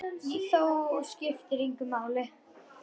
Þó skiptir það engu máli.